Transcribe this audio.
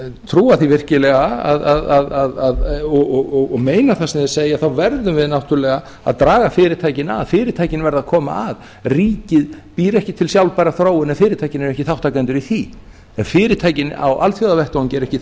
trúa því virkilega og meina það sem þeir segja þá verðum við náttúrlega að draga fyrirtækin að fyrirtækin verða að koma að ríkið býr ekki til sjálfbæra þróun ef fyrirtækin eru ekki þátttakendur í því en fyrirtækin á alþjóðavettvangi eru ekki